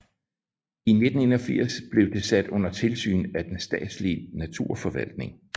I 1981 blev det sat under tilsyn af den statslige naturforvaltning